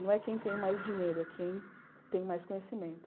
Não é quem tem mais dinheiro, é quem tem mais conhecimento.